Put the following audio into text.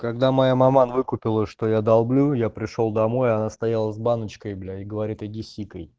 когда моя маман выкупила что я долблю я пришёл домой она стояла с баночкой блять говорит иди сикай